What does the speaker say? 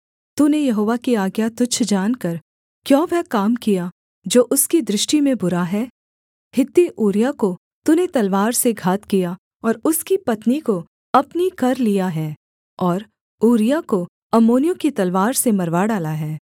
तूने यहोवा की आज्ञा तुच्छ जानकर क्यों वह काम किया जो उसकी दृष्टि में बुरा है हित्ती ऊरिय्याह को तूने तलवार से घात किया और उसकी पत्नी को अपनी कर लिया है और ऊरिय्याह को अम्मोनियों की तलवार से मरवा डाला है